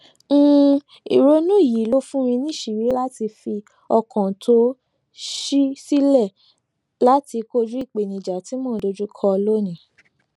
um ìrònú yìí ló fún mi níṣìírí láti fi ọkàn tó ṣí sílẹ láti kojú ìpèníjà tí mo dojú kọ lónìí